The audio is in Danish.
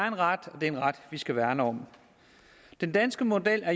en ret og det er en ret vi skal værne om den danske model er